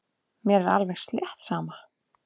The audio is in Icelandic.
Mér er alveg slétt sama.